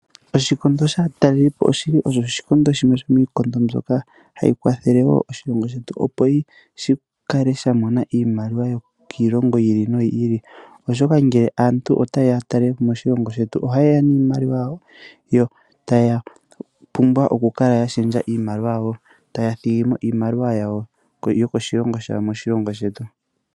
Oshikondo shaatalelipo oshili shimwe shomiikondo mbyoka hayi kwathele wo oshilongo shetu, Opo shikale sha mona iimaliwa oku za kiilongo yili no yili, oshoka ngele aantu ota yeya ya talelepo moshilongo shetu oha yeya niimaliwa yawo, yo Taya pumbwa oku kala yashendja iimaliwa yawo, yo taya thigimo iimaliwa yokoshilongo shawo moshilongo shetu.